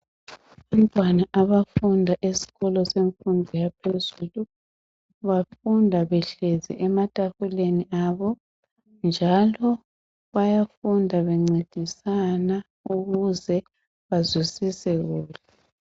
Abantwana abafunda esikolo semfundo yaphezulu bafunda behlezi ematafuleni abo njalo bayafunda bencedisana ukuze bazwisise kuhle